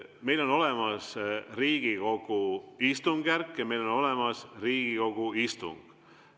Meil on olemas Riigikogu istungjärk ja meil on olemas Riigikogu istung.